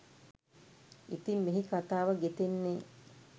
ඉතිං මෙහි කතාව ගෙතෙන්නේ